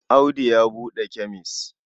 Audu ya buɗe kemes.